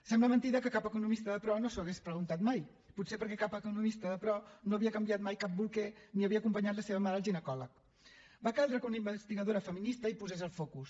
sembla mentida que cap economista de pro no s’ho hagués preguntat mai potser perquè cap economista de pro no havia canviat mai cap bolquer ni havia acompanyat la seva mare al ginecòleg va caldre que una investigadora feminista hi posés el focus